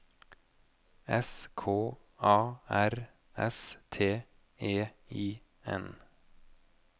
S K A R S T E I N